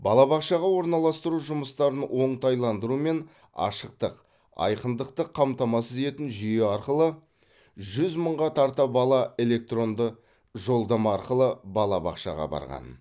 балабақшаға орналастыру жұмыстарын оңтайландыру мен ашықтық айқындықты қамтамасыз ететін жүйе арқылы жүз мыңға тарта бала электронды жолдама арқылы балабақшаға барған